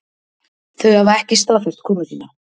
Þau hafa ekki staðfest komu sína